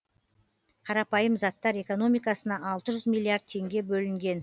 қарапайым заттар экономикасына алты жүз миллиард теңге бөлінген